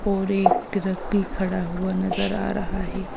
और एक ट्रक भी खड़ा हुआ नजर आ रहा है।